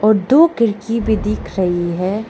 और दो खिड़की भी दिख रही है।